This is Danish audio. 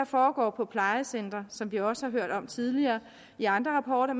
foregår på plejecentre som vi også hørt om tidligere i andre rapporter